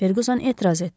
Ferquson etiraz etdi.